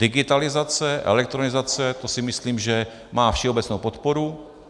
Digitalizace, elektronizace - to si myslím, že má všeobecnou podporu.